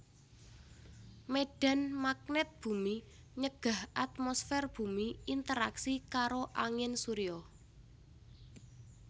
Médhan magnèt bumi nyegah atmosfèr bumi interaksi karo angin surya